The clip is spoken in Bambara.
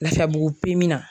Lafiyabugu na